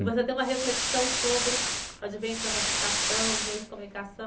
Você deu uma reflexão sobre o advento da massificação, os meios de comunicação.